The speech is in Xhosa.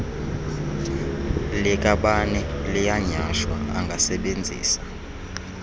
likabani liyanyhashwa angasebenzisa